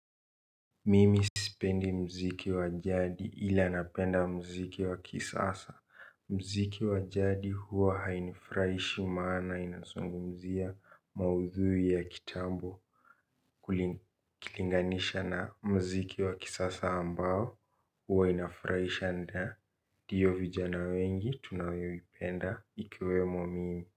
Mimi sipendi mziki wa jadi ila napenda mziki wa kisasa. Mziki wa jadi huwa hainifurahishi maana inazungumzia maudhui ya kitambo. Kulikilinganisha na mziki wa kisasa ambao huwa inafurahisha ndaa tiyo vijana wengi tunayoipenda ikiwemo mimi.